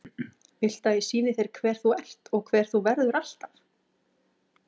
Viltu að ég sýni þér hver þú ert og hver þú verður alltaf?